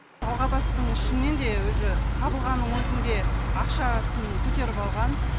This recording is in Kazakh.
алғабастың ішінен де уже табылғанның өзінде ақшасын көтеріп алған